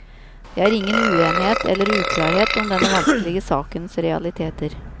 Det er ingen uenighet eller uklarhet om denne vanskelige sakens realiteter.